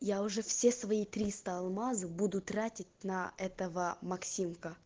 я уже все свои алмазы буду тратить на этого максим